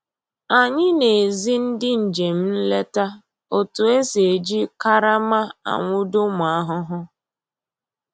Anyị na-ezi ndị njem nleta otu e si eji karama anwụdo ụmụ ahụhụ